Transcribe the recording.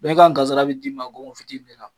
Bɛɛ ka kansara be di ma gongon fitinin de la.